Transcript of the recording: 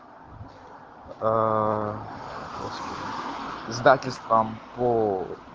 аа издательство по